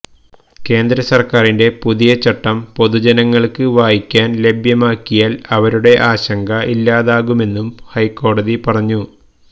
കേന്ദ്ര സര്ക്കാരിന്റെ പുതിയ ചട്ടം പൊതുജനങ്ങള്ക്ക് വായിക്കാന് ലഭ്യമാക്കിയാല് അവരുടെ ആശങ്ക ഇല്ലാതാകുമെന്നും ഹൈക്കോടതി പറഞ്ഞു